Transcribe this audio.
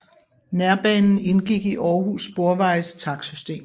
Nærbanen indgik i Århus Sporvejes takstsystem